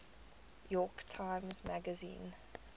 york times magazine